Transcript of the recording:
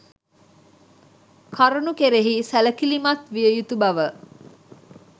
කරුණු කෙරෙහි සැලකිලිමත්විය යුතු බව